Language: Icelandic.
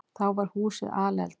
Þá var húsið alelda.